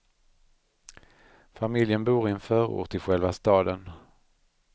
Familjen bor i en förort till själva staden.